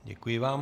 Děkuji vám.